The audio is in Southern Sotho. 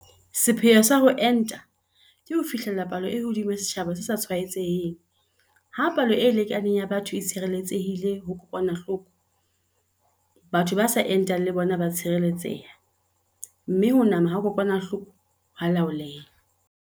Sepheo sa ho enta ke ho fihlella palo e hodimo ya setjhaba se sa tshwaetseheng - ha palo e lekaneng ya batho e tshireletsehile ho kokwanahloko, batho ba sa entang le bona ba a tshireletseha, mme ho nama ha kokwanahloko ho a laoleha.